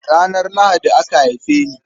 Ranar Lahadi aka haife ni.